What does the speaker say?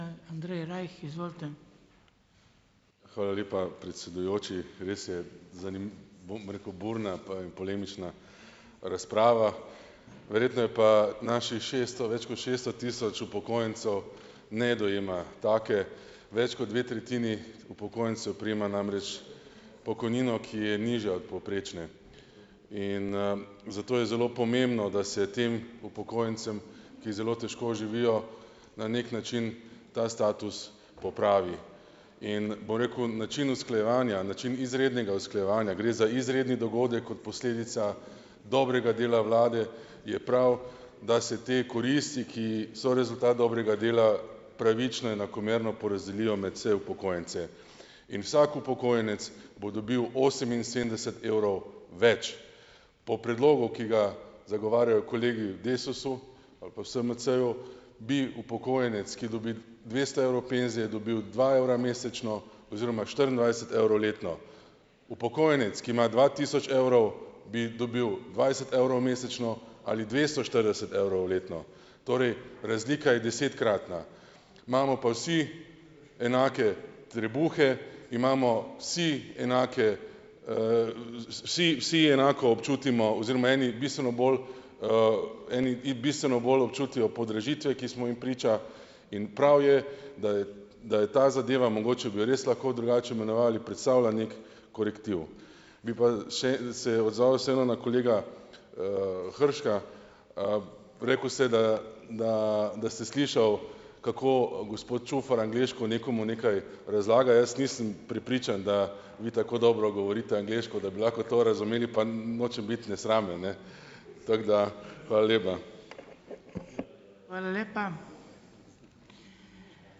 Hvala lepa, predsedujoči. Res je, bom rekel, burna pa in polemična, razprava. Verjetno je pa naših šeststo, več kot šeststo tisoč upokojencev ne dojema take. Več kot dve tretjini upokojencev prejema namreč pokojnino, ki je nižja od povprečne, in, zato je zelo pomembno, da se tem upokojencem, ki zelo težko živijo, na neki način ta status popravi in, bom rekel, način usklajevanja, način izrednega usklajevanja, gre za izredni dogodek, kot posledica dobrega dela vlade, je prav, da se te koristi, ki so rezultat dobrega dela, pravično in enakomerno porazdelijo med vse upokojence in vsak upokojenec bo dobil oseminsedemdeset evrov več. Po predlogu, ki ga zagovarjajo kolegi v Desusu ali pa v SMC-ju, bi upokojenec, ki dobi dvesto evrov penzije, dobil dva evra mesečno oziroma štiriindvajset evrov letno. Upokojenec, ki ima dva tisoč evrov, bi dobil dvajset evrov mesečno ali dvesto štirideset evrov letno. Torej razlika je desetkratna. Imamo pa vsi enake trebuhe, imamo vsi enake, vsi vsi enako občutimo oziroma eni bistveno bolj, eni bistveno bolj občutijo podražitve, ki smo jim priča, in prav je, da je, da je ta zadeva, mogoče bi jo res lahko drugače imenovali, predstavlja neki korektiv. Bi pa še se odzval vseeno, na kolega, Hrška. rekel ste, da da da ste slišal, kako, gospod Čufar angleško nekomu nekaj razlaga. Jaz nisem prepričan, da vi tako dobro govorite angleško, da lahko to razumeli, pa nočem biti nesramen, ne, tako da ... Hvala lepa.